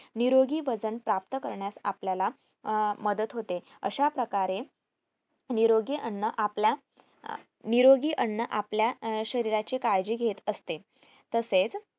निरोगी वजन प्राप्त करण्यात आपल्याला अं मदत होते अशाप्रकारे निरोगी अन्न आपल्या अं निरोगी अन्न आपल्या शरीराची काळजी घेत असते तसेच